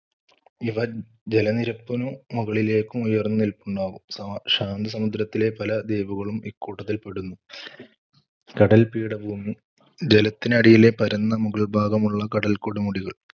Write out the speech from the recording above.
ഇവ ജലനിരപ്പിനു മുകളിലേക്കും ഉയർന്നു നിൽപ്പുണ്ടാകും. ശാന്തസമുദ്രത്തിലെ പല ദ്വീപുകളും ഇക്കൂട്ടത്തിൽ പെടുന്നു. കടൽ പീഠഭുമി ജലത്തിനടിയിലെ പരന്ന മുകൾഭാഗമുള്ള കടൽക്കൊടുമുടികൾ.